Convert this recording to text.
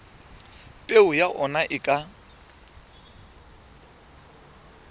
peo ya ona e ka